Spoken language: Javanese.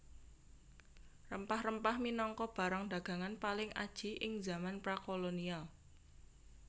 Rempah rempah minangka barang dagangan paling aji ing zaman prakolonial